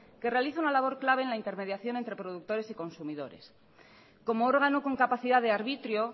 que realiza una labor clave en la intermediación entre productores y consumidores como órgano con capacidad de arbitrio